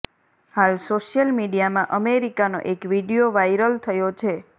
હાલ સોશિયલ મીડિયામાં અમેરિકાનો એક વીડિયો વાઇરલ થયો છે